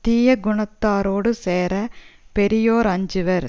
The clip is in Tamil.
தீய குணத்தாரோடு சேர பெரியோர் அஞ்சுவர்